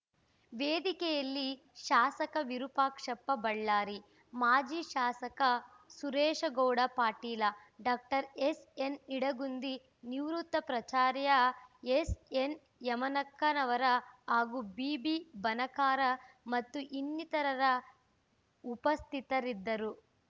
ವೇದಿಕೆಯಲ್ಲಿ ಶಾಸಕ ವಿರೂಪಾಕ್ಷಪ್ಪ ಬಳ್ಳಾರಿ ಮಾಜಿ ಶಾಸಕ ಸುರೇಶಗೌಡ ಪಾಟೀಲ ಡಾಕ್ಟರ್ ಎಸ್ಎನ್ನಿಡಗುಂದಿ ನಿವೃತ್ತ ಪ್ರಾಚಾರ್ಯ ಎಸ್ಎನ್ಯಮನಕ್ಕನವರ ಹಾಗೂ ಬಿಬಿಬಣಕಾರ ಮತ್ತು ಇನ್ನಿತರರ ಉಪಸ್ಥಿತರಿದ್ದರು